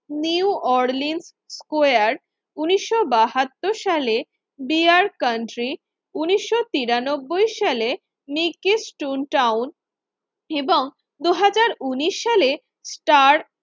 new Orleans ইয়ারড উন্নিশশো বাহাত্তর সালে ডিয়ার কান্ট্রি উন্নিশশো তিরানব্বৈ সালে নিকৃস টুন্ টাউন এবং দুই হাজার উন্নিশ সালে স্টার